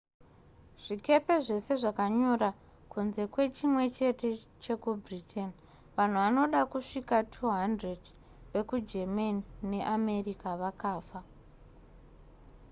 zvikepe zvese zvakanyura kunze kwechimwe chete chekubritain vanhu vanoda kusvika 200 vekugermany neamerica vakafa